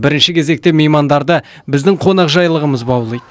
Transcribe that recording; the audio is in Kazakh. бірінші кезекте меймандарды біздің қонақжайлылығымыз баулиды